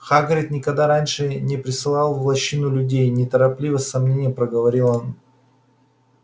хагрид никогда раньше не присылал в лощину людей неторопливо с сомнением проговорил он